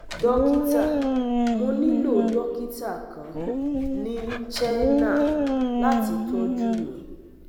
Dokita Mo nilo dokita kan ni Chennai lati tọju mi